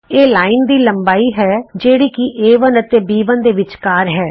ਇਹ ਰੇਖਾ ਦੀ ਲੰਬਾਈ ਹੈ ਜਿਹੜੀ ਕਿ ਏ1 ਅਤੇ ਬੀ1 ਦੇ ਵਿਚਕਾਰ ਹੈ